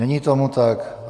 Není tomu tak.